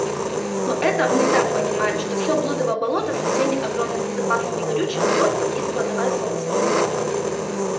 мы это так понимаем что все блудово болото со всеми огромными запасами горючего торфа есть кладовая солнца